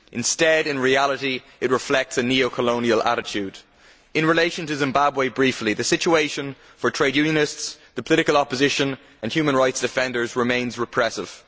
Instead in reality it reflects a neo colonial attitude. In relation to Zimbabwe, the situation for trade unionists, the political opposition and human rights defenders remains repressive.